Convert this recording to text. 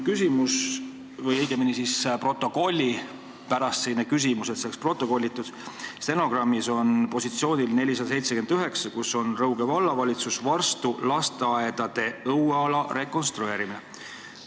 Mul on protokolli huvides küsimus – tahan, et see saaks stenogrammis protokollitud – positsiooni 479 kohta, kus on kirjas "Rõuge Vallavalitsus, Varstu lasteaedade õueala rekonstrueerimine".